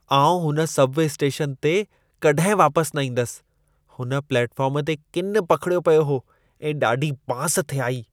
आउं हुन subway station ते कॾहिं वापसि न वेंदसि। हुन प्लेटफ़ार्म ते किनु पखिड़ियो पियो हो ऐं ॾाढी बांस थे आई।